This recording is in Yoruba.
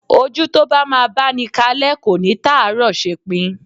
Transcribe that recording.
Ojú tó bá máa báni kalẹ́ kò ní tàárọ̀ ṣepin.